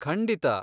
ಖಂಡಿತ!